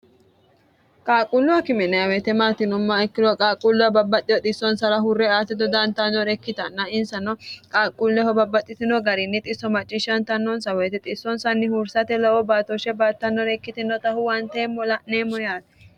qaaqquulluwa kimineawoyite maatinomma ikkiloh qaaqquulluwa babbaxxiho xissonsara hurre aate dodaantanore ikkitanna insano qaaqquulleho babbaxxitino gariinni xisso macciishshantannonsa woyite xissonsanni huursate baatoshshe baattannore ikkitinotahu wanteemmo la'neemmo yaate